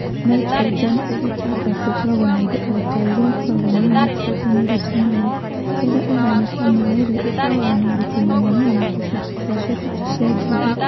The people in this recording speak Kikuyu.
Naitrogeni ĩrĩ ta ngasi ĩkoragwo na indo o ta iria ikoragwo na naitrogeni ĩrĩ ta maaĩ. Rĩrĩa ĩhana ta maĩ-rĩ ĩkoragwo na ũritũ mũnene no tũcunjĩ twacio tũticenjagia.